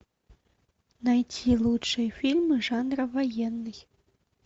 найти лучшие фильмы жанра военный